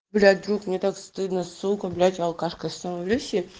блять друг мне так стыдно сукаблядь алкашкой становлюсь блять